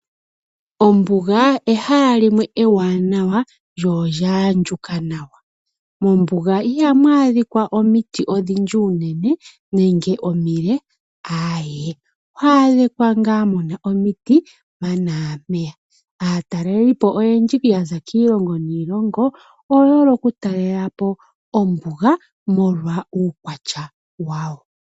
Ombuga ehala limwe ewanawa lyonolya andjuka nawa. Mombuga ihamu adhika omitit odhindji unene nege omile, aawe. Ohamu adhika ngaa muna omiti mpaka naa mpeya. Aataleli oyendji ya za kiilomgo niilongo oye hole okutalela po ombuga molwa uukwatya wayo.